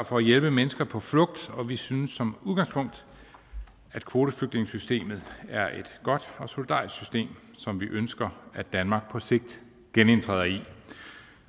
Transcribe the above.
for at hjælpe mennesker på flugt og vi synes som udgangspunkt at kvoteflygtningesystemet er et godt og solidarisk system som vi ønsker danmark på sigt genindtræder i